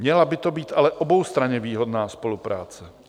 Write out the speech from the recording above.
Měla by to být ale oboustranně výhodná spolupráce.